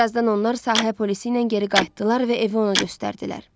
Bir azdan onlar sahə polisi ilə geri qayıtdılar və evi ona göstərdilər.